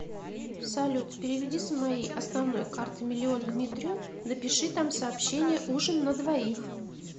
салют переведи с моей основной карты миллион дмитрию напиши там сообщение ужин на двоих